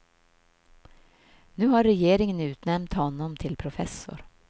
Nu har regeringen utnämnt honom till professor.